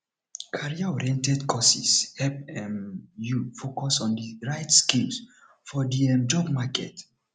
careeroriented courses help um you focus on the right skills for the um job market